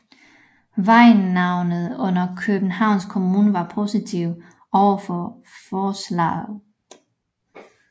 Vejnavnenævnet under Københavns Kommune var positive overfor forslaget